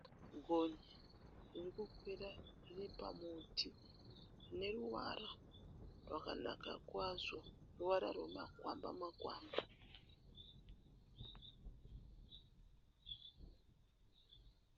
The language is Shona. Gonye riri kukwira riri pamuti rine ruvara rwakanaka kwazvo, ruvara rwemakwamba makwamba.